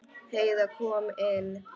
Heiða kom inn.